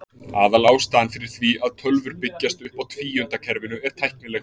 Aðalástæðan fyrir því að tölvur byggjast upp á tvíundakerfinu er tæknileg.